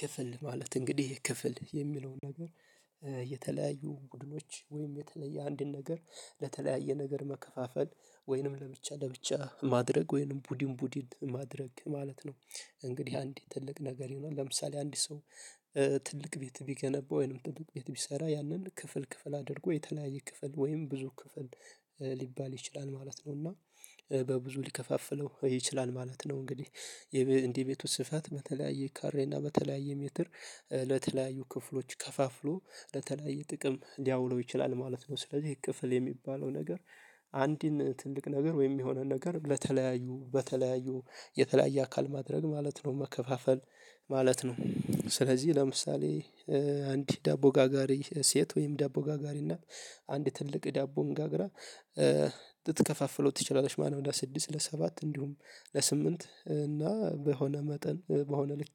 ክፍል ማለት እንግዲህ ክፍል የሚለውን ደግሞ የተለያዩ ቡድኖች ወይም የተለያየ አንድን ነገር ለተለያየ ነገር መከፋፈል። ወይንም ለብቻ ለብቻ ማድረግ። ወይንም ቡድን ቡድን ማድረግ ማለት ነው። እንግዲህ አንድ ትልቅ ነገር የሆነ። ለምሳሌ አንድ ሰው ትልቅ ቤት የሚገነባው ወይንም ትልቅ ቤት ያንን ክፍል ክፍል አድርጎ የተለያየ ክፍል ወይም ብዙ ክፍል ሊባል ይችላል ማለት ነው። እና በብዙ ሊከፋፍለው ይችላል ማለት ነው። እንግዲህ እንደ ቤቱ ስፋት በተለያየ ካሬ እና በተለያየ ሜትር ለተለያዩ ክፍሎች ከፋፍሎ ለተለያየ ጥቅም ሊያውለው ይችላል ማለት ነው። ስለዚህ ክፍል የሚባለው ነገር አንድን ትልቅ ነገር ወይም የሆነን ነገር ለተለያዩ በተለያዩ የተለያየ አካል ማድረግ ማለት ነው። መከፋፈል ማለት ነው። ስለዚህ ለምሳሌ አንድ ዳቦ ጋጋሪ ሴት ወይም ዳቦ ጋጋሪ እና አንድ ትልቅ ዳቦን ጋግራ ልትከፋፍለው ትችላለች ማለት ነው። ወደ ለስድስት፣ ለሰባት እንዲሁም ለስምንት እና በሆነ መጠን በሆነ ልክ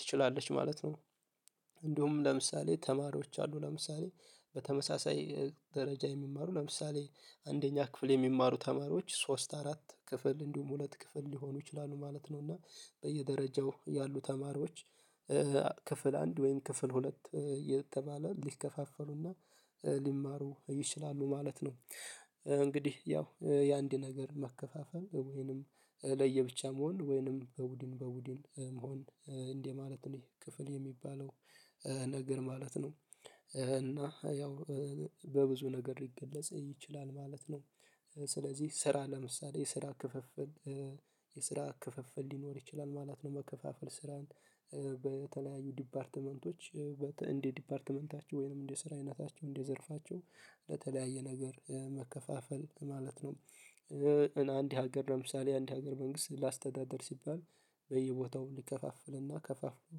ትችላለች ማለት ነው። እንዲሁም ለምሳሌ ተማሪዎች አሉ ለምሳሌ በተመሳሳይ ደረጃ የሚማሩ ለምሳሌ አንደኛ ክፍል የሚማሩ ተማሪዎች ሶስት አራት ክፍል እንዲሁም ሁለት ክፍል ሊሆኑ ይችላሉ ማለት ነው። እና በየደረጃው ያሉ ተማሪዎች ክፍል አንድ ወይም ክፍል ሁለት እየተባለ ሊከፋፈሉ እና ሊማሩ ይችላሉ ማለት ነው። እንግዲህ ያው የአንድ ነገር መከፋፈል ወይንም ለየብቻ መሆን ወይንም በቡድን በቡድን መሆን እንዲህ ማለት ነው። ይሄ ክፍል የሚባለው ነገር ማለት ነው። እና ያው በብዙ ነገር ሊገለጽ ይችላል ማለት ነው። ስለዚህ ስራ ለምሳሌ የስራ ክፍፍል የስራ ክፍፍል ሊኖር ይችላል ማለት ነው። መከፋፈል ስራን በተለያዩ ዲፓርትመንቶች እንደ ዲፓርትመንታቸው ወይንም እንደ ስራ አይነታቸው እንደ ዘርፋቸው ለተለያየ ነገር መከፋፈል ማለት ነው። አንድ ሀገር ለምሳሌ አንድ ሀገር መንግስት ለአስተዳደር ሲባል በየቦታው ሊከፋፍል እና ከፋፍሎ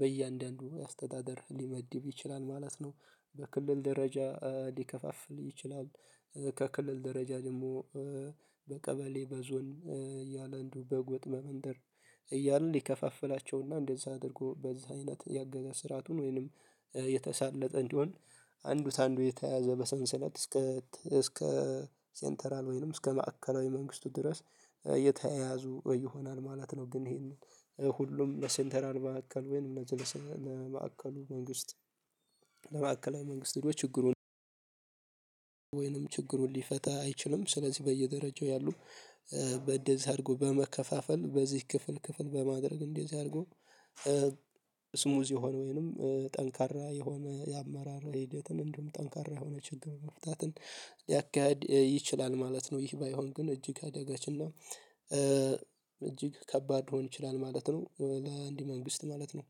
በእያንዳንዱ አስተዳደር ሊመድብ ይችላል ማለት ነው። በክልል ደረጃ ሊከፋፍል ይችላል። ከክልል ደረጃ ደግሞ በቀበሌ በዞን እያለ እንዲ ሁም በጎጥ፣ በመንደር እያለ ሊከፋፍላቸውና እንደዛ አድርጎ በዛ አይነት የአገዛዝ ስራቱን ወይንም የተሳለጠ እንዲሆን አንዱ ከአንዱ የተያያዘ በሰንሰለት እስከ እስከ 'ሴንትራል' ወይንም እስከ ማዕከላዊ መንግስቱ ድረስ የተያያዙ ይሆናል ማለት ነው። ግን ይሄንን ሁሉም በ'ሴንተራል' ማዕከል ወይንም ለማዕከሉ መንግስት ለመካከለኛው መንግስት ሄዶ ችግሩን ወይንም ችግሩን ሊፈታ አይችልም። ስለዚህ በየደረጃው ያሉ በእደዚህ አርጎ በመከፋፈል በዚህ ክፍል ክፍል በማድረግ እንደዚህ አድርጎ 'ስሙዝ' የሆነ ወይንም ጠንካራ የሆነ የአመራር ሂደትን እንዲሁም ጠንካራ የሆነ ችግር መፍታትን ሊያካሂድ ይችላል ማለት ነው። ይህ ባይሆን ግን እጅግ አደጋች እና እጅግ ከባድ ሊሆን ይችላል ማለት ነው። ለአንድ መንግስት ማለት ነው።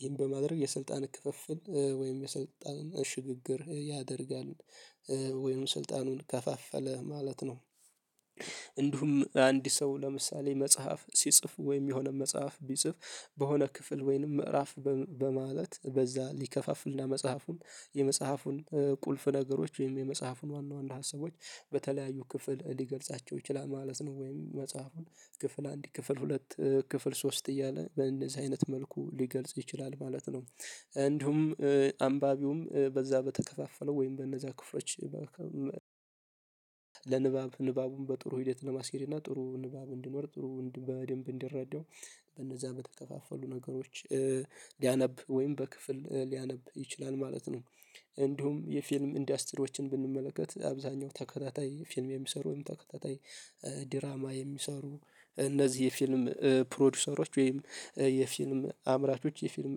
ይህን በማድረግ የስልጣን ክፍፍል ወይም የስልጣን ሽግግር ያደርጋል። ወይንም ስልጣኑን ከፋፈለ ማለት ነው። እንዲሁም አንድ ሰው ለምሳሌ መጽሐፍ ሲጽፍ ወይም የሆነ መጽሐፍ ቢጽፍ በሆነ ክፍል ወይንም ምዕራፍ በማለት በዛ ሊከፋፍል እና መጽሐፉን የመጽሐፉን ቁልፍ ነገሮች ወይም የመጽሐፉን ዋና ዋና ሀሳቦች በተለያዩ ክፍል ሊገልጻቸው ይችላል ማለት ነው። ወይም መጽሐፉን ክፍል አንድ፣ ክፍል ሁለት፣ ክፍል ሶስት እያለ በእንደዚህ አይነት መልኩ ሊገልጽ ይችላል ማለት ነው። እንዲሁም አንባቢውም በዛ በተከፋፈለው ወይም በእነዛ ክፍሎች ለንባብ ንባቡን በጥሩ ሂደት ለማስኬድ እና ጥሩ ንባብ እንዲኖር ጥሩ በደንብ እንዲረዳው እጅግ ከባድ ሊሆን ይችላል ማለት ነው። ለአንድ መንግስት ማለት ነው። ይህን በማድረግ የስልጣን ክፍፍል ወይም የስልጣን ሽግግር ያደርጋል። ወይንም ስልጣኑን ከፋፈለ ማለት ነው። እንዲሁም አንድ ሰው ለምሳሌ መጽሐፍ ሲጽፍ ወይም የሆነ መጽሐፍ ቢጽፍ እንዲሁም የፊልም 'ኢንደስትሪዎችን' ብንመለከት አብዛኛው ተከታታይ ፊልም የሚሰሩ ወይም ተከታታይ ድራማ የሚሰሩ እነዚህ የፊልም 'ፕሮዲዩሰሮች' ወይም የፊልም አምራቾች የፊልም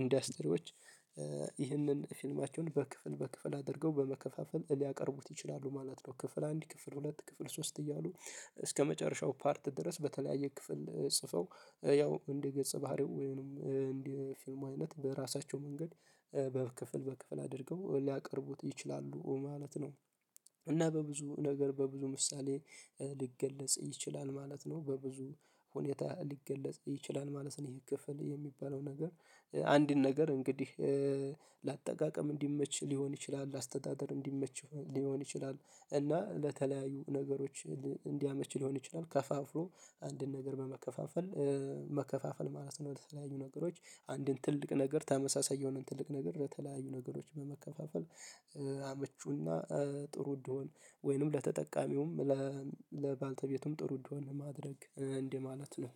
'ኢንደስትሪዎች' ይህንን ፊልማቸውን በክፍል በክፍል አድርገው በመከፋፈል ሊያቀርቡት ይችላሉ ማለት ነው። ክፍል አንድ፣ ክፍል ሁለት፣ ክፍል ሶስት እያሉ እስከመጨረሻው 'ፓርት' ድረስ በተለያየ ክፍል ጽፈው ያው እንደ ገጸባህሪው ወይንም እንደ ፊልሙ አይነት በራሳቸው መንገድ በክፍል በክፍል አድርገው ሊያቀርቡት ይችላሉ ማለት ነው። እና በብዙ ነገር በብዙ ምሳሌ ሊገለጽ ይችላል ማለት ነው። በብዙ ሁኔታ ሊገለጽ ይችላል ማለት ነው። ይሄ ክፍል የሚባለው ነገር አንድን ነገር እንግዲህ ለአጠቃቀም እንዲመች ሊሆን ይችላል፣ ለአስተዳደር እንዲመች ሊሆን ይችላል እና ለተለያዩ ነገሮች እንዲያመች ሊሆን ይችላል ከፋፍሎ አንድን ነገር በመከፋፈል መከፋፈል ማለት ነው። የተለያዩ ነገሮች አንድን ትልቅ ነገር ተመሳሳይ የሆነን ትልቅ ነገር ለተለያዩ ነገሮች በመከፋፈል ምቹ እና ጥሩ እንዲሆን ወይንም ለተጠቃሚውም ለባልተቤቱም ጥሩ እንዲሆን ማድረግ እንዴ ማለት ነው።